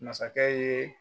Masakɛ ye